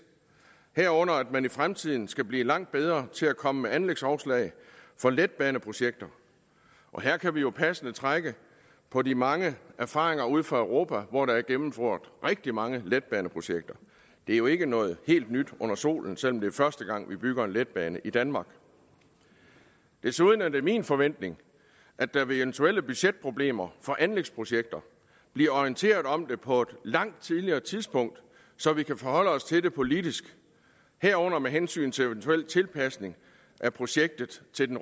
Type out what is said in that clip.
herunder at man i fremtiden skal blive langt bedre til at komme med anlægsoverslag for letbaneprojekter her kan vi jo passende trække på de mange erfaringer ude fra europa hvor der er gennemført rigtig mange letbaneprojekter det er jo ikke noget helt nyt under solen selv om det er første gang vi bygger en letbane i danmark desuden er det min forventning at der ved eventuelle budgetproblemer for anlægsprojekter bliver orienteret om det på et langt tidligere tidspunkt så vi kan forholde os til det politisk herunder med hensyn til eventuel tilpasning af projektet til den